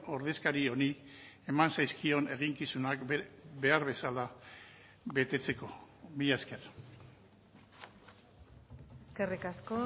ordezkari honi eman zaizkion eginkizunak behar bezala betetzeko mila esker eskerrik asko